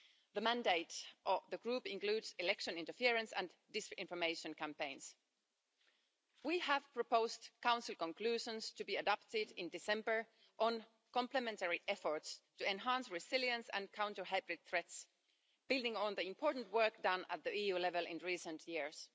The mandate of the group includes election interference and disinformation campaigns. We have proposed Council conclusions to be adopted in December on complementary efforts to enhance resilience and counter hybrid threats, building on the important work done at the EU level in recent years.